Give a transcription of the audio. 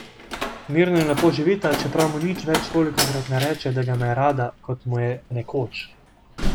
Mirno in lepo živita, čeprav mu nič več tolikokrat ne reče, da ga ima rada, kot mu je nekoč.